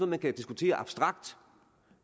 man kan diskutere abstrakt